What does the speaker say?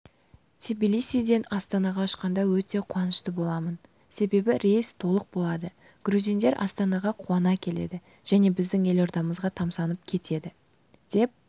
тбилисиден астанаға ұшқанда өте қуанышты боламын себебі рейс толық болады грузиндер астанаға куана келеді және біздің елордамызға тамсанып кетеді деп